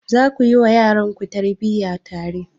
Za ku yi wa yaranku tarbiyya tare?